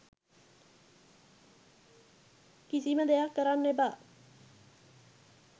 කිසිම දෙයක් කරන්න එපා